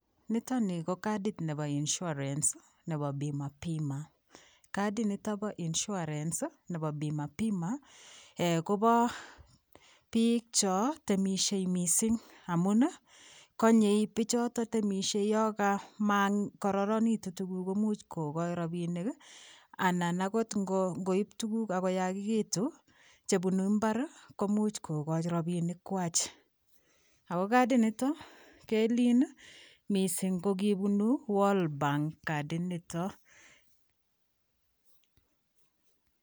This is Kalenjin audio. Nitoon ko katit ab insurance anan BIMA BIMA katit nitoon nebo [insurance] Kobo biik chaan temisiet missing amuun ii yaan temisiet bichotoo ako makororonegituun rapinik ii anan akoot ingoib tuguuk ak koyachekituun chebunuu mbar komuuch kogochi rapinik kwaak ago katit nitoon keliin missing ko kibunu [world bank] katit nitoon.